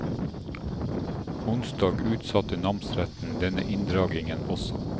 Onsdag utsatte namsretten denne inndragningen også.